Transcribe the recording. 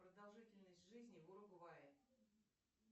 продолжительность жизни в уругвае